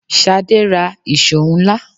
Ṣadé ra ìṣó ńlá.